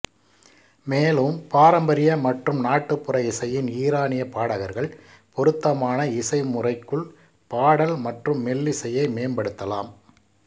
மேலும் பாரம்பரிய மற்றும் நாட்டுப்புற இசையின் ஈரானிய பாடகர்கள் பொருத்தமான இசை முறைக்குள் பாடல் மற்றும் மெல்லிசையை மேம்படுத்தலாம்